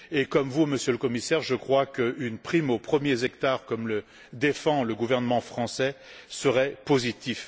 Comme vous, Monsieur le Commissaire, je crois qu'une prime aux premiers hectares, comme le défend le gouvernement français, serait positive.